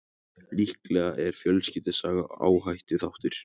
Líklega er fjölskyldusaga áhættuþáttur.